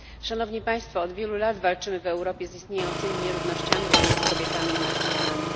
Szanowni Państwo! Od wielu lat walczymy w Europie z istniejącymi nierównościami pomiędzy kobietami i mężczyznami.